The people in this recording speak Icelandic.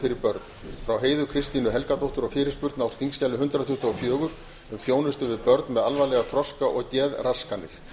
fyrir börn frá heiðu kristínu helgadóttur og fyrirspurn á þingskjali hundrað tuttugu og fjögur um þjónustu við börn með alvarlegar þroska og geðraskanir